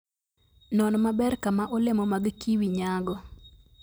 Non maber kaka olemo mag kiwi nyago.